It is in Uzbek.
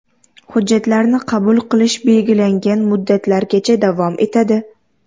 Hujjatlarni qabul qilish belgilangan muddatlargacha davom etadi.